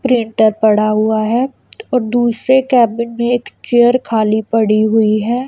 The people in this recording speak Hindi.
प्रिंटर पड़ा हुआ है और दूसरे केबिन में एक चेयर खाली पड़ी हुई है।